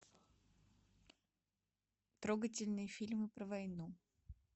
трогательный фильм про войну